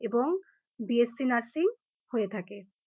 এবং BSc nursing হয়ে থাকে ।